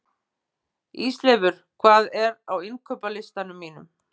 Ísleifur, hvað er á innkaupalistanum mínum?